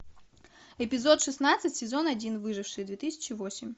эпизод шестнадцать сезон один выживший две тысячи восемь